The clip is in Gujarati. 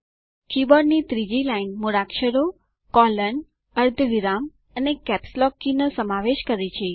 કીબોર્ડ ની ત્રીજી લાઇન મૂળાક્ષરો કોલોન અર્ધવિરામ અને કેપ્સલોક કી નો સમાવેશ કરે છે